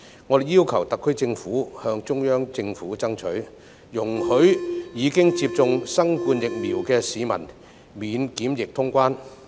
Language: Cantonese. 我們要求特區政府向中央政府爭取，容許已接種新冠疫苗的市民免檢疫通關。